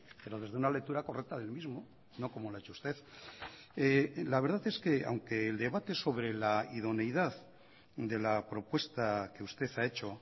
pero desde una lectura correcta del mismo no como lo ha hecho usted la verdad es que aunque el debate sobre la idoneidad de la propuesta que usted ha hecho